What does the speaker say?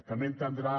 també deu entendre